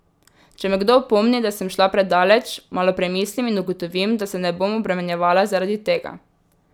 Če me kdo opomni, da sem šla predaleč, malo premislim in ugotovim, da se ne bom obremenjevala zaradi tega.